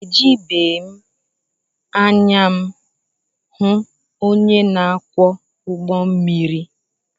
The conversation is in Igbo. Ejibeghị m anya m hụ onye na-akwọ ụgbọmmiri